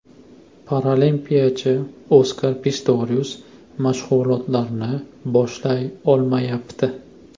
Paralimpiyachi Oskar Pistorius mashg‘ulotlarni boshlay olmayapti.